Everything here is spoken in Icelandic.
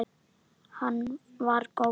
Hann var góður.